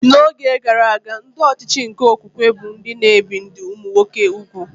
N'oge gara aga, ndị ọchịchị nke okwukwe bụ ndị na-ebi ndị ụmụnwoke úgwù